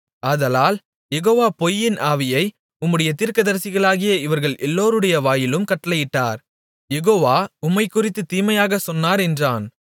ஆதலால் யெகோவா பொய்யின் ஆவியை உம்முடைய தீர்க்கதரிசிகளாகிய இவர்கள் எல்லோருடைய வாயிலும் கட்டளையிட்டார் யெகோவா உம்மைக் குறித்துத் தீமையாகச் சொன்னார் என்றான்